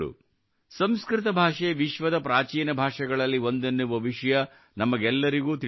ಸಂಸ್ಕೃತ ಭಾಷೆ ವಿಶ್ವದ ಪ್ರಾಚೀನ ಭಾಷೆಗಳಲ್ಲಿ ಒಂದೆನ್ನುವ ವಿಷಯ ನಮಗೆಲ್ಲರಿಗೂ ತಿಳಿದೇ ಇದೆ